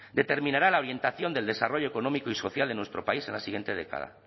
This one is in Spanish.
determinará la orientación del desarrollo económico y social de nuestro país en la siguiente década